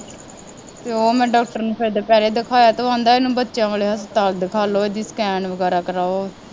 ਅਤੇ ਉਹ ਮੈਂ ਡਾਕਟਰ ਨੂੰ ਫੇਰ ਦੁਪਹਿਰੇ ਦਿਖਾਇਆ ਤਾਂ ਉਹ ਕਹਿੰਦਾ ਇਹਨੂੰ ਬੱਚਿਆਂ ਵਾਲੇ ਹਸਪਤਾਲ ਦਿਖਾ ਲਉ ਇਹਦੀ ਸਕੈਨ ਵਗੈਰਾ ਕਰਾਉ